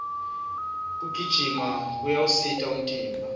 kugijima kuyawusita umtimba